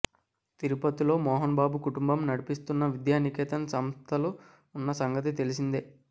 తిరుపతిలో మోహన్ బాబు కుటుంబం నడిపిస్తున్న విద్యానికేతన్ సంస్థలు ఉన్న సంగతి తెలిసిందే